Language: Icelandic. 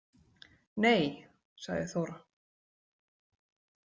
Nei, sagði Þóra.